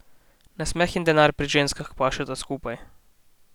Nasmeh in denar pri ženskah pašeta skupaj.